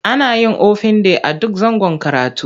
Ana yin ofin day a duk zangon karatu.